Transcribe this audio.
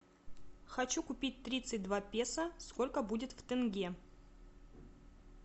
хочу купить тридцать два песо сколько будет в тенге